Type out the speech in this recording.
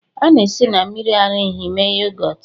A na-esi na mmiri ara ehi mee yogọt